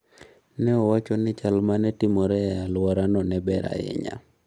Ne owacho ni chal ma ne timore e alworano ne ber ahinya.